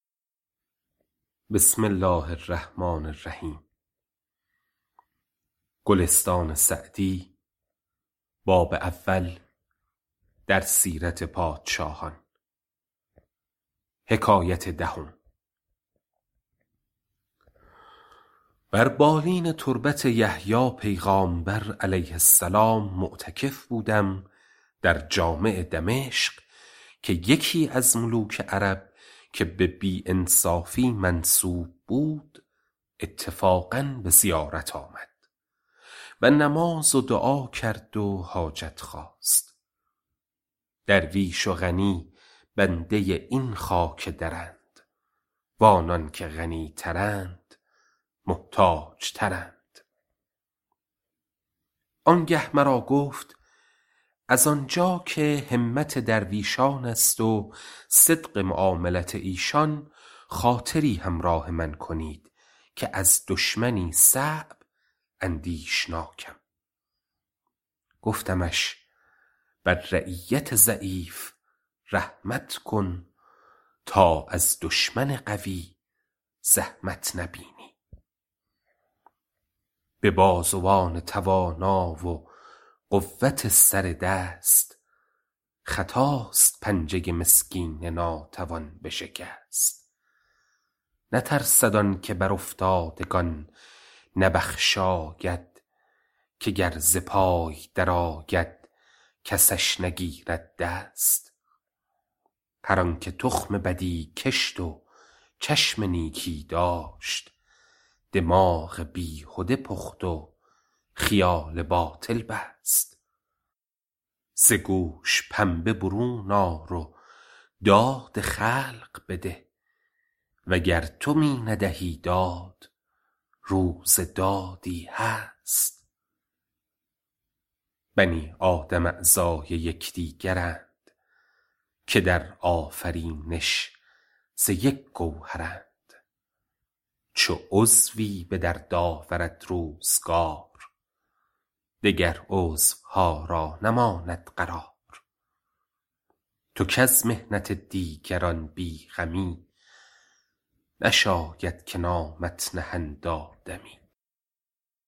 بر بالین تربت یحیی پیغامبر -علیه السلام- معتکف بودم در جامع دمشق که یکی از ملوک عرب که به بی انصافی منسوب بود اتفاقا به زیارت آمد و نماز و دعا کرد و حاجت خواست درویش و غنی بنده این خاک درند و آنان که غنی ترند محتاج ترند آن گه مرا گفت از آن جا که همت درویشان است و صدق معاملت ایشان خاطری همراه من کنید که از دشمنی صعب اندیشناکم گفتمش بر رعیت ضعیف رحمت کن تا از دشمن قوی زحمت نبینی به بازوان توانا و قوت سر دست خطاست پنجه مسکین ناتوان بشکست نترسد آن که بر افتادگان نبخشاید که گر ز پای در آید کسش نگیرد دست هر آن که تخم بدی کشت و چشم نیکی داشت دماغ بیهده پخت و خیال باطل بست ز گوش پنبه برون آر و داد خلق بده وگر تو می ندهی داد روز دادی هست بنی آدم اعضای یکدیگرند که در آفرینش ز یک گوهرند چو عضوی به درد آورد روزگار دگر عضوها را نماند قرار تو کز محنت دیگران بی غمی نشاید که نامت نهند آدمی